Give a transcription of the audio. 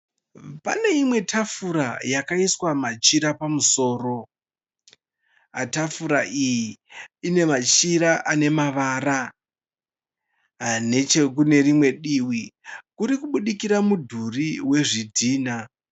Pane imwe tafura yakaiswa machira pamusoro. Tafura iyi ine machira ane mavara. Nechekune rimwe divi kuri kubudikira mudhuri wezvidhina